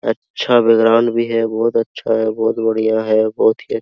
अच्छा बैकग्राउंड भी है बहोत अच्छा है बहोत बढ़िया है बहुत ही --